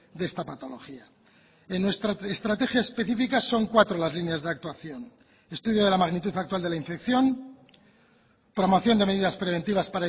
de esta patología en nuestra estrategia específica son cuatro las líneas de actuación estudio de la magnitud actual de la infección promoción de medidas preventivas